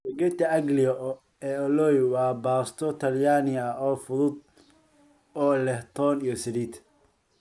Spaghetti aglio e olio waa baasto talyaani ah oo fudud oo leh toon iyo saliid.